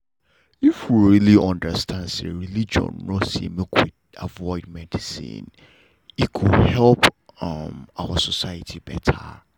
if we really understand say religion nor say make we avoid medicine e go help um our society better